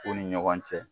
U ni ɲɔgɔn cɛ